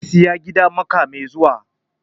Zai saya gida mako mai zuwa